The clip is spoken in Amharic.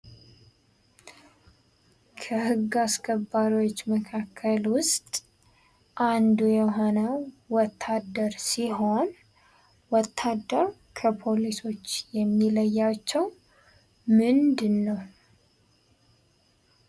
ከህግ አስከባሪዎች መካከል ውስጥ አንዱ የሆነው ወታደር ሲሆን ወታደር ከፖሊሶች የሚለያቸው ምንድነው ?